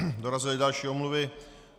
Dorazily další omluvy.